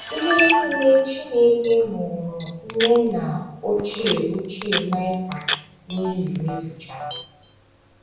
Ihe nile Chineke ṅụụrụ ndị nna ochie ochie Maịka n’iyi mezuchara.